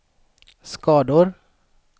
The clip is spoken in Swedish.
skador